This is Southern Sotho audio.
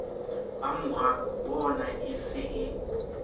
ba morabona e se e